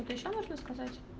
что то ещё нужно сказать